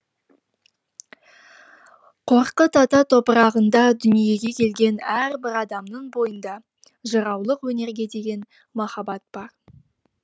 қорқыт ата топырағында дүниеге келген әрбір адамның бойында жыраулық өнерге деген махаббат бар